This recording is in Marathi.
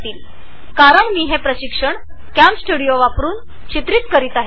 याचे कारण असे की मी हे प्रशिक्षण कॅमस्टुडिओ वापरुन रेकॉर्ड करत आहे